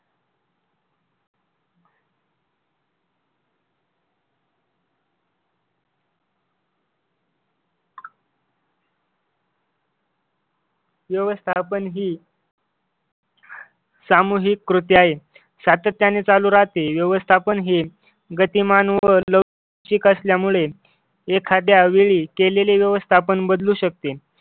व्यवस्थापन ही सामूहिक कृती आहे सातत्याने चालू राहते व्यवस्थापन हे गतिमान व लवचिक असल्यामुळे एखाद्या वेळी केलेले व्यवस्थापन बदलू शकते.